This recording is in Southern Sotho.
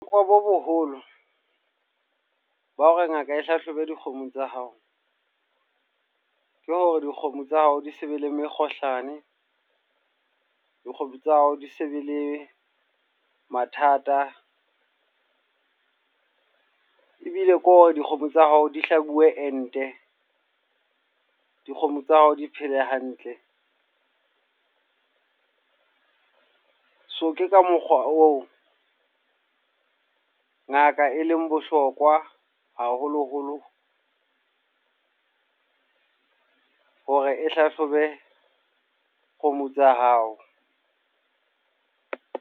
bo boholo, ba hore ngaka e hlahlobe dikgomo tsa hao. Ke hore dikgomo tsa hao di se be le mekgohlane, dikgomo tsa hao di se be le mathata. Ebile ko hore dikgomo tsa hao di hlabue ente. Dikgomo tsa hao di phele hantle. So ke ka mokgwa oo, ngaka e leng bohlokwa haholo-holo. Hore e hlahlobe dikgomo tsa hao.